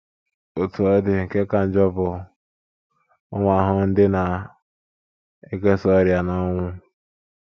Otú ọ dị, nke ka njọ bụ ụmụ ahụhụ ndị na - ekesa ọrịa na ọnwụ.